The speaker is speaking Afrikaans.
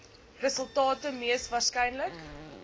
resultate mees waarskynlik